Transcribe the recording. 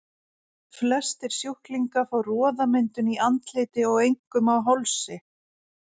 Flestir sjúklinga fá roðamyndun í andliti og einkum á hálsi.